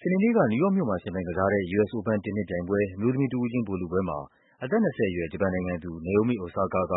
စနေနေ့က နယူးယောက်မြို့မှာ ယှဉ်ပြိုင်ကစားတဲ့ US Open တင်းနစ်ပြိုင်ပွဲ အမျိုးသမီးတဦးချင်းဗိုလ်လုပွဲမှာ အသက် ၂၀ အရွယ် ဂျပန်နိုင်ငံသူ Naomi Osaka က